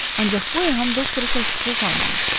Ancaq bu Eham doktoru təşvişə salmamışdı.